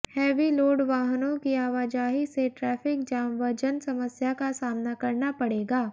heavy load वाहनों की आवाजाही से ट्रैफिक जाम व जनसमस्या का सामना करना पडे़गा